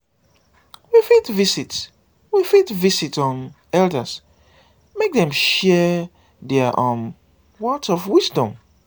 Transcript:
we fit visit we fit visit um elders make dem share their um words of wisdom